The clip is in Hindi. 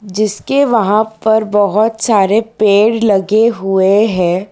जिसके वहां पर बहोत सारे पेड़ लगे हुए है।